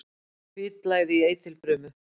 Hvítblæði í eitilfrumu.